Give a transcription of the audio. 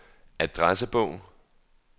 adressebog